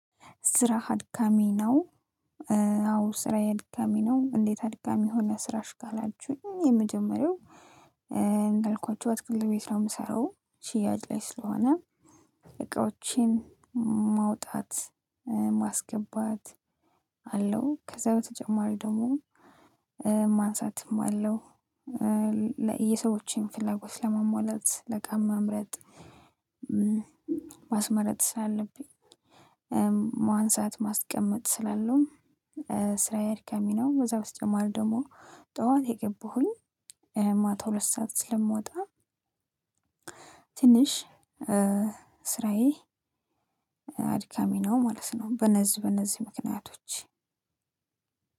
ስራህ አድካሚ ነው? አዎ ስራየ አድካሚ ነው እንዴት አድካሚ ሆነ? ስራሽ ካላችሁኝ የመጀመሪያው እንዳልኳችሁ አትክልት ቤት ነው የምሰራው ሽያጭ ላይ ስለሆነ እቃዎችን ማውጣት ማስገባት አለው። ከዛ በተጨማሪ ደግሞ ማንሳትም አለው። የሰዎችን ፍላጎት ለማሟላት እቃ መምረጥ ማስመረጥ ስላለብኝ። ማንሳት ማስቀመጥ ስላለው ስራዬ እርካሚ ነው። በዛ በተጨማሪ ደግሞ ጠዋት የገባሁኝ ማታ ሁለት ሰዓት ስለምወጣ። ትንሽ ስራዬ አድካሚ ነው ማለት ነው። በነዚህ በነዚህ ምክንያቶች